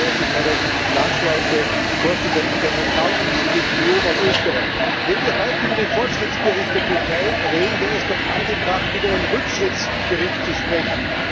Ich begrüße herzlich meine Landsleute, die Korpsstudenten der Montanuniversität Leoben aus Österreich. Wenn wir heute über den Fortschrittsbericht der Türkei reden, wäre es doch angebracht, über einen Rückschrittsbericht zu sprechen.